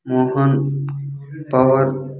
Mohan power .